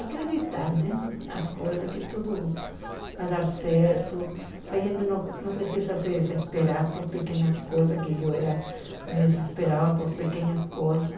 Acreditar né nas coisas, que tudo vai dar certo, que a gente não não precisa se desesperar por pequenas coisas, que eu era me desesperava por pequenas coisas.